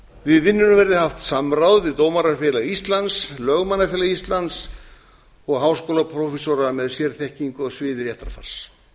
við vinnuna verði haft samráð við dómarafélag íslands lögmannafélags íslands og háskólaprófessora með sérþekkingu á sviði réttarfars